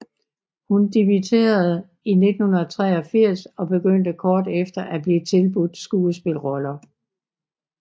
Hun dimitterede i 1983 og begyndte kort efter at blive tilbudt skuespilroller